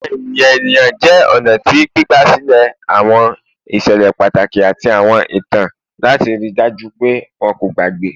Awọn eniyan eniyan jẹ ọna ti gbigbasilẹ awọn iṣẹlẹ pataki ati awọn itan lati rii daju pe wọn ko gbagbe